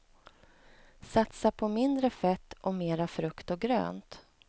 Satsa på mindre fett och mera frukt och grönt.